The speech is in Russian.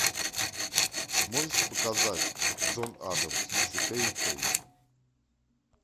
можешь показать джон адамс четыре кей